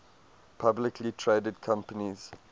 publicly traded companies